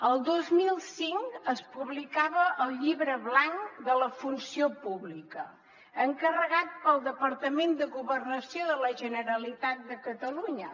el dos mil cinc es publicava el llibre blanc de la funció pública encarregat pel departament de governació de la generalitat de catalunya